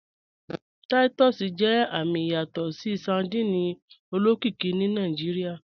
Titus jẹ àmì ìyàsọtọ sardine olókìkí ni Nàìjíríà.